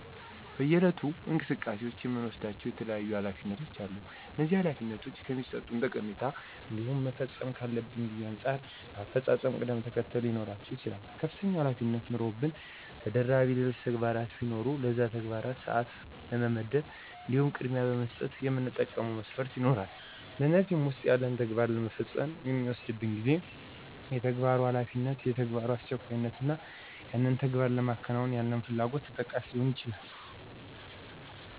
በየዕለት እንቅስቃሴዎቻችን የምንወስዳቸው የተለያዩ ኃላፊነቶች አሉ፤ እነዚህ ኃላፊነቶች ከሚሠጡት ጠቀሜታ እንዲሁም መፈጸም ካለበት ጊዜ አንጻር በአፈፃፀማቸው ቅደም ተከተለ ሊኖራቸው ይችላል። ከፍተኛ ኃላፊነቶች ኑረውብን ተደራቢ ሌሎች ተግባራቶች ቢኖሩ ለነዛ ተግባራት ሰዓት ለመመደብ እንዲሁም ቅድሚያ ለመስጠት የምንጠቀመው መስፈርት ይኖራል፤ ከእነዚህም ዉስጥ ያንን ተግባር ለመፈጸም የሚወስድብን ጊዜ፣ የተግባሩ አስፈላጊነት፣ የተግባሩ አስቸኳይነት እና ያንን ተግባር ለማከናወን ያለን ፍላጎት ተጠቃሽ ሊሆኑ ይችላሉ።